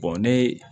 ne